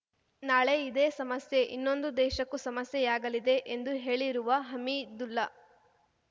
ನಾಳೆ ಇದೇ ಸಮಸ್ಯೆ ಇನ್ನೊಂದು ದೇಶಕ್ಕೂ ಸಮಸ್ಯೆಯಾಗಲಿದೆ ಎಂದು ಹೇಳಿರುವ ಹಮೀದುಲ್ಲಾ